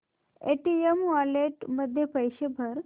Paytm wallet मध्ये पैसे भर